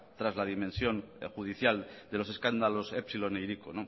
tras la dimensión judicial de los escándalos epsilon e hiriko